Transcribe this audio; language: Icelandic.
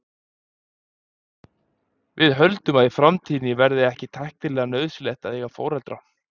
Við höldum að í framtíðinni verði ekki tæknilega nauðsynlegt að eiga foreldra.